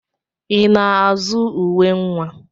I na-azụ uwe nwa?